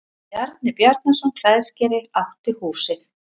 Bjarni Bjarnason klæðskeri átti húsið.